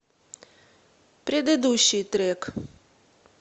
предыдущий трек